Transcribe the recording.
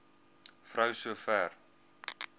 vrou so ver